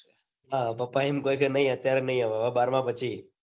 હા પપ્પા એમ કોઈ કે નઈ અત્યારે નઈ હવે હવે બારમા પછી